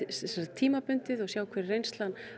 tímabundið og sjá hver reynslan